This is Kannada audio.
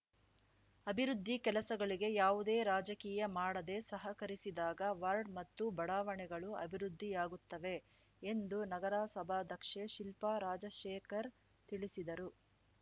ಅಭಿವೃದ್ಧಿ ಕೆಲಸಗಳಿಗೆ ಯಾವುದೆ ರಾಜಕೀಯ ಮಾಡದೆ ಸಹಕರಿಸಿದಾಗ ವಾರ್ಡ್‌ ಮತ್ತು ಬಡಾವಣೆಗಳು ಅಭಿವೃದ್ಧಿ ಯಾಗುತ್ತವೆ ಎಂದು ನಗರಸಭಾಧ್ಯಕ್ಷೆ ಶಿಲ್ಪಾ ರಾಜಶೇಖರ್‌ ತಿಳಿಸಿದರು